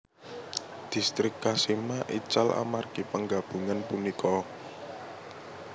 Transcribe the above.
Distrik Kashima ical amargi panggabungan punika